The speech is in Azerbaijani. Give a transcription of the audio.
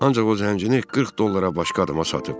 Ancaq o zəngini 40 dollara başqa adama satıb.